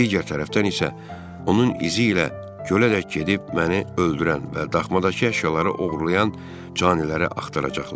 Digər tərəfdən isə onun izi ilə gölədək gedib məni öldürən və daxmadakı əşyaları oğurlayan caniləri axtaracaqlar.